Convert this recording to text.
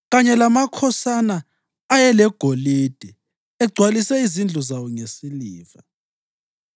kanye lamakhosana ayelegolide, egcwalise izindlu zawo ngesiliva.